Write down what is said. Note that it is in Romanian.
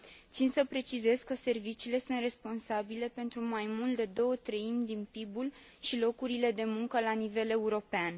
Țin să precizez că serviciile sunt responsabile pentru mai mult de două treimi din PIB ul și locurile de muncă la nivel european.